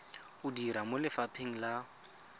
o dira mo lefapheng la